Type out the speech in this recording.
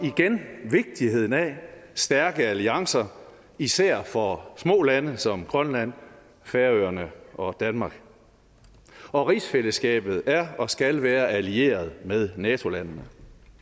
igen vigtigheden af stærke alliancer især for små lande som grønland færøerne og danmark og rigsfællesskabet er og skal være allieret med nato landene